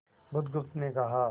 बुधगुप्त ने कहा